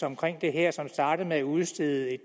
omkring det her som startede med at udstede